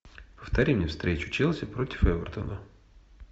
повтори мне встречу челси против эвертона